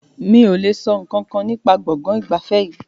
Mi o le sọ nkankan nípa gbọ̀ngàn ìgbafẹ́ yìí.